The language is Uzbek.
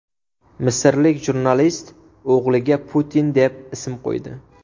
Misrlik jurnalist o‘g‘liga Putin deb ism qo‘ydi.